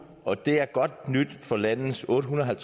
og det er godt nyt for landets ottehundrede og